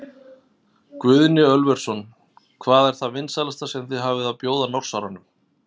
Guðni Ölversson: Hvað er það vinsælasta sem þið hafið að bjóða Norsaranum?